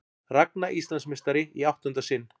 Ragna Íslandsmeistari í áttunda sinn